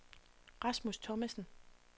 Rasmus Thomasen